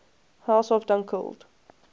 house of dunkeld